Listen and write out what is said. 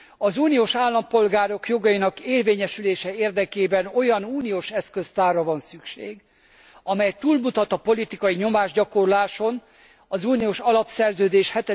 Az uniós állampolgárok jogainak érvényesülése érdekében olyan uniós eszköztárra van szükség, amely túlmutat a politikai nyomásgyakorláson, az uniós alapszerződés